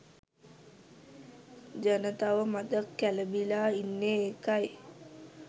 ජනතාව මඳක් කැළඹිලා ඉන්නේ ඒකයි.